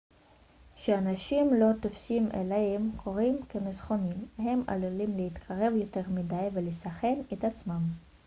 כשאנשים לא תופסים איילים קוראים כמסוכנים הם עלולים להתקרב יותר מדי ולסכן את עצמם